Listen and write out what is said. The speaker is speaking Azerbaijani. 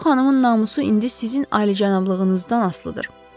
Bu xanımın namusu indi sizin ali-cənablığınızdan asılıdır.